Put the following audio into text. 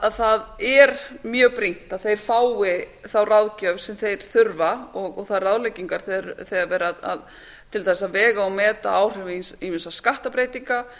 að það er mjög brýnt að þeir fái þá ráðgjöf sem þeir þurfa og þær ráðleggingar þegar er verið að til dæmis vega og meta áhrif ýmissa skattbreytinga